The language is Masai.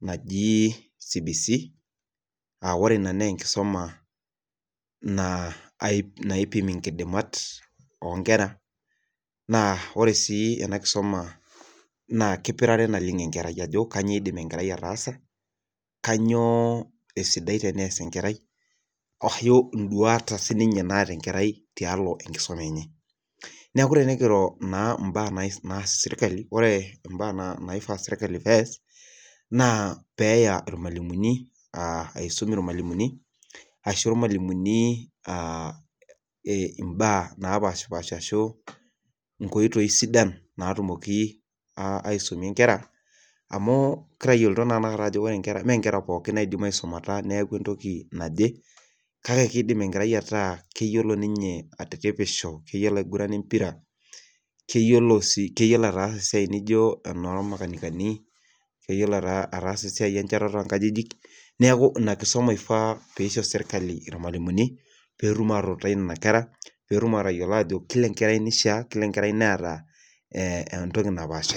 naji CBC.aa ore Ina naa enkisuma, na aipimo nkidimat oonkera. naa ore sii ena kisuma kipirare naleng enkerai ajo kainyioo iidim enkerai ataasa kainyioo, esidai tenees enkerai ashu iduat, sii ninye naata enkerai tialo enkisuma enye. neeku tenikiro naa mbaa naas sirkali ore mbaa, naifaa sirkali pees. naa, peeta ilmalimuni aisum ilmalimuni .ashu ilmalimuni aa imbaa naapashipaasha ashu, inkoitoi sidan naatumoki aisumie nkera. ami kitayioloto naa tenakata ajo ore nkera me nkera pooki naisuma neeku entoki naji. kake kidim enkerai ataa keyiolo ninye atiripisho keyiolo aigurana empira. keyiolo sii ataasa esiai nijo, enormakanikani. keyiolo esiai enchatata oo nkajijik. neeku Ina kisuma ifaa pee ishori sirkali ilmalimuni. petum atutai Nena kera. kila ankerai neeta entoki napaashari.